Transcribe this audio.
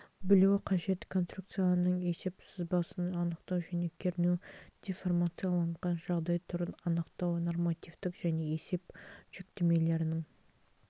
білуі қажет конструкцияның есеп сызбасын анықтау және кернеу деформацияланған жағдай түрін анықтау нормативтік және есеп жүктемелерінің